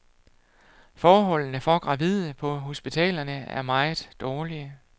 Forholdene for gravide på hospitalerne er meget dårlige.